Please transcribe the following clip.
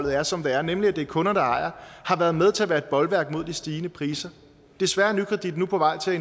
er som det er nemlig at det er kunder der ejer har været med til at være et bolværk mod de stigende priser desværre er nykredit nu på vej til